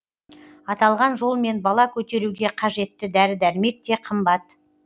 аталған жолмен бала көтеруге қажетті дәрі дәрмек те қымбат